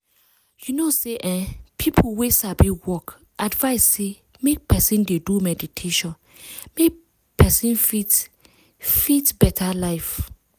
you know say eeeh people wey sabi work advice say make person dey do meditation make person fit fit get better life.